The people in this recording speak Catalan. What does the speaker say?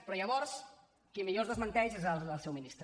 però llavors qui millor els desmenteix és el seu ministre